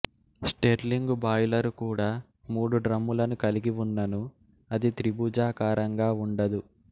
Stirling boiler కూడా మూడు డ్రమ్ములను కలిగి వున్నను అది త్రిభుజాకారంగా వుండదు